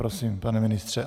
Prosím, pane ministře.